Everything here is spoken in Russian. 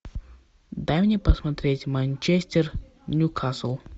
дай мне посмотреть манчестер ньюкасл